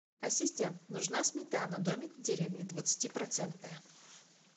ассистент нужна сметана домик в деревне двадцати процентная